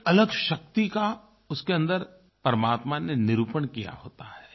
एक अलग शक्ति का उसके अन्दर परमात्मा ने निरूपण किया होता है